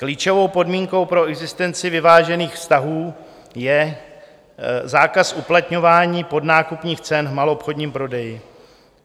Klíčovou podmínkou pro existenci vyvážených vztahů je zákaz uplatňování podnákupních cen v maloobchodním prodeji.